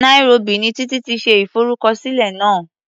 Nairobi ni Títí ti ṣe ìfọrúkọsílẹ̀ náà.